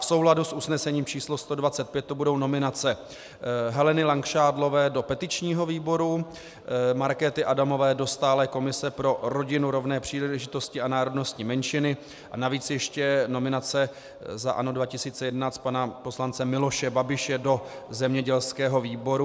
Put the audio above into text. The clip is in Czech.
V souladu s usnesením číslo 125 to budou nominace Heleny Langšádlové do petičního výboru, Markéty Adamové do stálé komise pro rodinu, rovné příležitosti a národnostní menšiny a navíc ještě nominace za ANO 2011 pana poslance Miloše Babiše do zemědělského výboru.